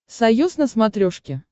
союз на смотрешке